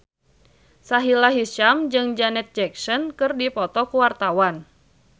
Sahila Hisyam jeung Janet Jackson keur dipoto ku wartawan